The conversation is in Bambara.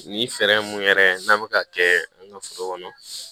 Ni fɛɛrɛ mun yɛrɛ n'an be ka kɛ an ka foro kɔnɔ